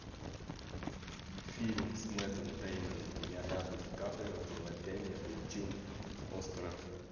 фильм с мэттом дэймоном и леонардо ди каприо где мэтт дэймон получил оскара